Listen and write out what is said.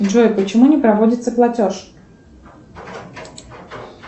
джой почему не проводится платеж